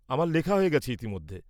-আমার লেখা হয়ে গেছে ইতিমধ্যে।